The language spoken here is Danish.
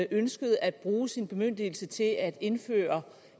ønskede at bruge sin bemyndigelse til at indføre